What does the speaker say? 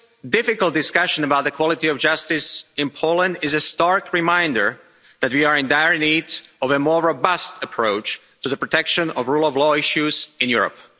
Difficult discussion about the quality of justice in Poland is a stark reminder that we are in dire need of a more robust approach to the protection of rule of law issues in Europe.